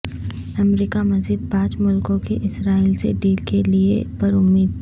امریکہ مزید پانچ ملکوں کی اسرائیل سے ڈیل کےلئے پر امید